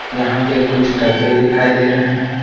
यहां पे कुछ डब्बे दिखाई दे रहे हैं।